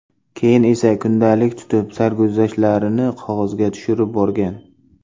Keyin esa kundalik tutib, sarguzashtlarini qog‘ozga tushirib borgan.